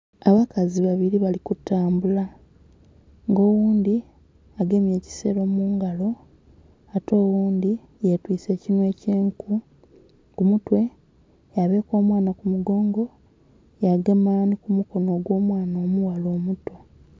Abakazi babiri bali kutambula nga oghundhi agemye ekisero mungalo ate oghundhi ye twise ekinhwa ekye'nkuu ku mutwe ya eka omwaana ku mugongo yagema nhi ku mukonho gwo'mwaana omuti.